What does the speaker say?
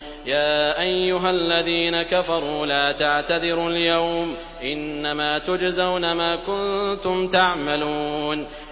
يَا أَيُّهَا الَّذِينَ كَفَرُوا لَا تَعْتَذِرُوا الْيَوْمَ ۖ إِنَّمَا تُجْزَوْنَ مَا كُنتُمْ تَعْمَلُونَ